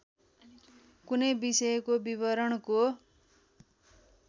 कुनै विषयको विवरणको